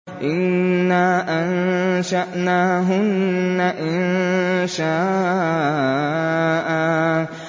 إِنَّا أَنشَأْنَاهُنَّ إِنشَاءً